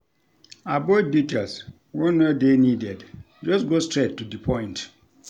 Avoid details wey no dey needed, just go straight to di point